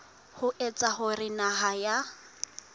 ho etsa hore naha ya